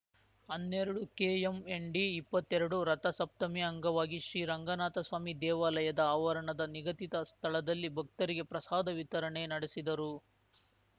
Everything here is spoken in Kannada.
ಹನ್ನೆರಡುಕೆಎಂಎನ್‌ ಡಿಇಪ್ಪತ್ತೆರಡು ರಥಸಪ್ತಮಿ ಅಂಗವಾಗಿ ಶ್ರಿರಂಗನಾಥಸ್ವಾಮಿ ದೇವಾಲಯದ ಆವರಣದ ನಿಗದಿತ ಸ್ಥಳದಲ್ಲಿ ಭಕ್ತರಿಗೆ ಪ್ರಸಾದ ವಿತರಣೆ ನಡೆಸಿದರು